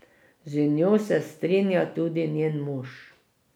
Z njo se strinja tudi njen mož.